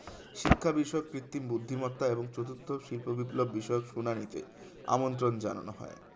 শিক্ষা বিষয়ক কৃত্রিম বুদ্ধিমত্তা এবং চতুর্থ শিল্প বিপ্লব বিষয়ক সুনানিতে আমন্ত্রণ জানানো হয়